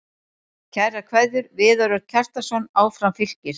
Kærar kveðjur, Viðar Örn Kjartansson Áfram Fylkir